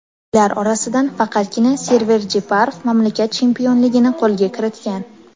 Ular orasidan faqatgina Server Jeparov mamlakat chempionligini qo‘lga kiritgan.